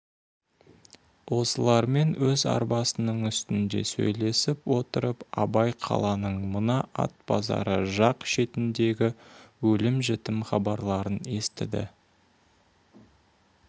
осылармен өз арбасының үстінде сөйлесіп отырып абай қаланың мына ат базары жақ шетіндегі өлім-жітім хабарларын естіді